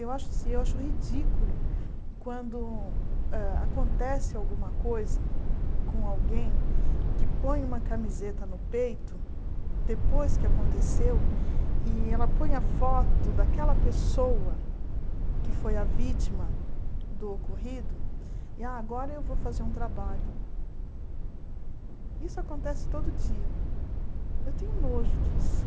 eu acho eu acho ridículo quando hã acontece alguma coisa com alguém que põe uma camiseta no peito depois que aconteceu e ela põe a foto daquela pessoa que foi a vítima do ocorrido e agora eu vou fazer um trabalho isso acontece todo dia eu tenho nojo disso